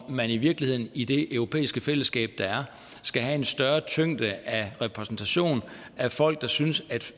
om man i virkeligheden i det europæiske fællesskab der er skal have en større tyngde af repræsentation af folk der synes at